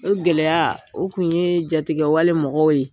O gɛlɛya, o kun ye jatiigɛwale mɔgɔw ye.